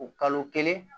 O kalo kelen